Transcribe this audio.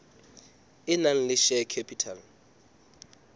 e nang le share capital